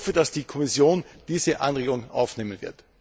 Ich hoffe, dass die Kommission diese Anregung aufnehmen wird.